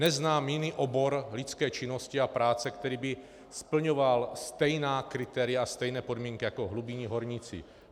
Neznám jiný obor lidské činnosti a práce, který by splňoval stejná kritéria, stejné podmínky jako hlubinní horníci.